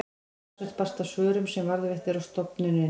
talsvert barst af svörum sem varðveitt eru á stofnuninni